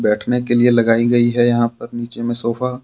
बैठने के लिए लगायी गयी है यहां पर नीचे में सोफा --